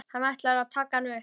Hann ætlar að taka hana upp.